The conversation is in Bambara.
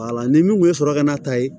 ni min kun ye sɔrɔ ka n'a ta yen